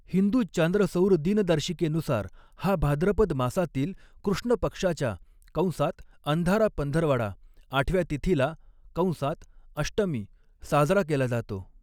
हिंदू चांद्रसौर दिनदर्शिकेनुसार, हा भाद्रपद मासातील कृष्ण पक्षाच्या कंसात अंधारा पंधरवडा आठव्या तिथीला कंसात अष्टमी साजरा केला जातो.